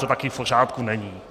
To také v pořádku není.